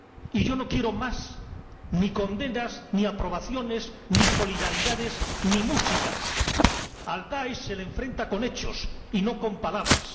y yo no quiero ni más condenas, ni aprobaciones, ni solidaridades, ni música al DAESH se le enfrenta con hechos y no con palabras.